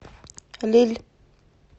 лилль